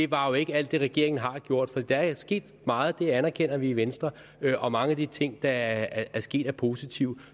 var jo ikke alt det regeringen har gjort for der er sket meget det anerkender vi i venstre og mange af de ting der er sket er positive